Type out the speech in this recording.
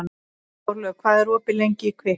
Þórlaug, hvað er opið lengi í Kvikk?